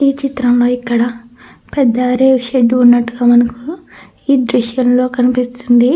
ఈ చిత్రంలో ఇక్కడ పెద్ద రేకు షెడ్డు ఉన్నట్టుగా మనకు ఈ దృశ్యంలో కనిపిస్తుంది.